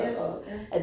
Ja, ja